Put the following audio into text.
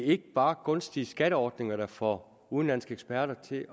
ikke bare er gunstige skatteordninger der får udenlandske eksperter til